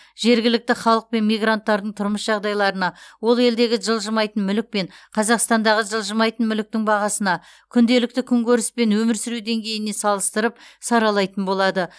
жергілікті халық пен мигранттардың тұрмыс жағдайларына ол елдегі жылжымайтын мүлік пен қазақстандағы жылжымайтын мүліктің бағасына күнделікті күнкөріс пен өмір сүру деңгейіне салыстырып саралайтын болады